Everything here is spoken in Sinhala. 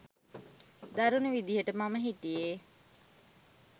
දරුණු විදිහට මම හිටියේ.